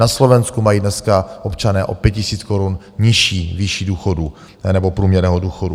Na Slovensku mají dneska občané o 5 000 korun nižší výši důchodu nebo průměrného důchodu.